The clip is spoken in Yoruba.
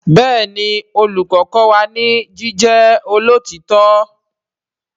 Béèni Olùkó kó wá ní ní ìdúró tí ìwà.